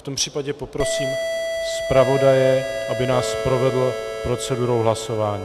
V tom případě poprosím zpravodaje, aby nás provedl procedurou hlasování.